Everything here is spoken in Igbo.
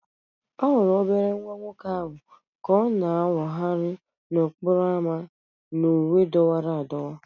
A hụrụ obere nwa nwoke ahụ ka ọ na-awagharị n'okporo ámá na uwe dọwara adọwa